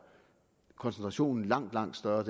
koncentrationen langt langt større